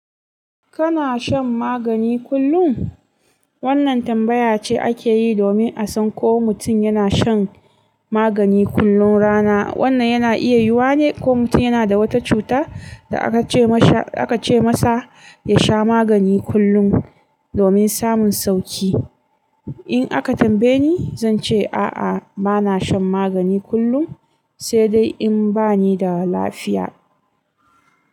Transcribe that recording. Kana shan magani kullum? Wannan tambaya ce ake yi domin a san ko mutum yana shan magani kullum rana. Wannan yana iya yiwuwane ko mutum yana da wata cuta da aka ce masa, aka ce masa ya sha magani kullum domin samun sauki. In aka tambaye ni, zan ce a'a, ba na shan magani kullum, sai dai in ba ni da lafiya.